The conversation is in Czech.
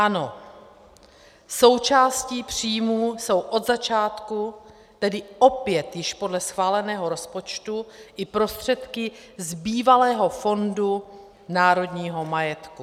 Ano, součástí příjmů jsou od začátku, tedy opět již podle schváleného rozpočtu, i prostředky z bývalého Fondu národního majetku.